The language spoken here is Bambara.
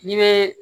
N'i bɛ